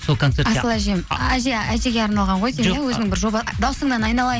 сол концертте асыл әжем әжеге арналған ғой деймін иә өзінің бір жоба дауысыңнан айналайын